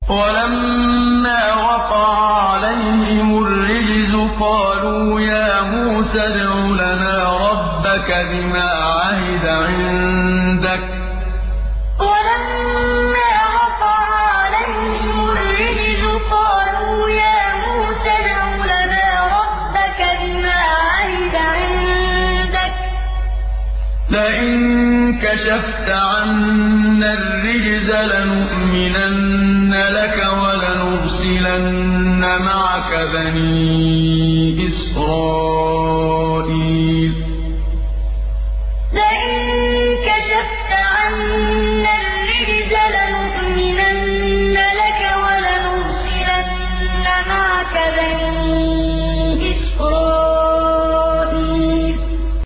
وَلَمَّا وَقَعَ عَلَيْهِمُ الرِّجْزُ قَالُوا يَا مُوسَى ادْعُ لَنَا رَبَّكَ بِمَا عَهِدَ عِندَكَ ۖ لَئِن كَشَفْتَ عَنَّا الرِّجْزَ لَنُؤْمِنَنَّ لَكَ وَلَنُرْسِلَنَّ مَعَكَ بَنِي إِسْرَائِيلَ وَلَمَّا وَقَعَ عَلَيْهِمُ الرِّجْزُ قَالُوا يَا مُوسَى ادْعُ لَنَا رَبَّكَ بِمَا عَهِدَ عِندَكَ ۖ لَئِن كَشَفْتَ عَنَّا الرِّجْزَ لَنُؤْمِنَنَّ لَكَ وَلَنُرْسِلَنَّ مَعَكَ بَنِي إِسْرَائِيلَ